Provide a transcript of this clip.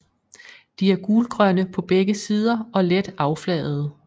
De er gulgrønne på begge sider og let affladede